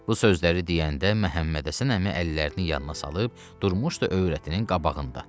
Bu sözləri deyəndə Məhəmmədhəsən əmi əllərini yanına salıb durmuşdu övrətinin qabağında.